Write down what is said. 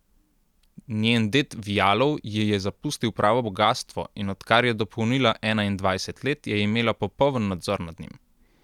Njen ded Vjalov ji je zapustil pravo bogastvo, in odkar je dopolnila enaindvajset let, je imela popoln nadzor nad njim.